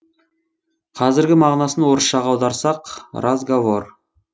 қазіргі мағынасын орысшаға аударсақ разговор